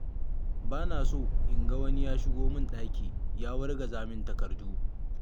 Ba na so in ga wani ya shigo min ɗaki ya wargaza min takardu.